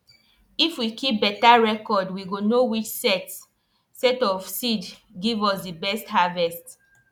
if we keep beta reocrd we go know which set set of seed give us di best harvest